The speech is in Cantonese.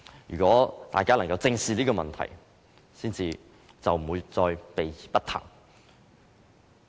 如果大家能正視這問題，便不會再避而不談。